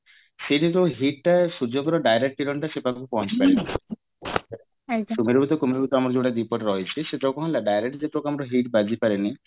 ସେଇ ଯୋଉ heat ଟା ସୁର୍ଜ୍ୟଙ୍କର direct କିରଣ ସେଇ ପାଖକୁ ପହଞ୍ଚି ପାରିଲା ସୁମେରୁ ବୃତ କୁମେରୁ ବୃତ ଆମର ଯୋଉତ ଦୀପଟେ ରହିଛି ସେଟା କଣ ହେଲା direct ଯେତେବେଳେ ଆମର heat ବାଜି ପାରିନି